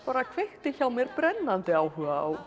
kveikti hjá mér brennandi áhuga á gömlu